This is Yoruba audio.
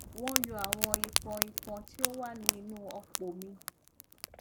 wọn yọ àwọn ìpọn ìpọn tí ó wà ní inú ọpò mi